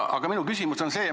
Aga minu küsimus on selline.